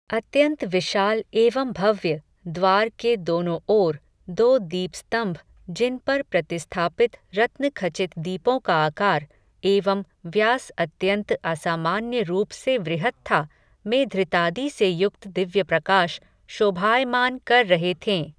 अत्यन्त विशाल एवं भव्य, द्वार के दोनो ओर, दो दीपस्तम्भ, जिन पर प्रतिस्थापित रत्नखचित दीपो का आकार, एवं व्यास अत्यन्त असामान्य रूप से वृहत था, में धृतादि से युक्त दिव्य प्रकाश, शोभायमान कर रहे थें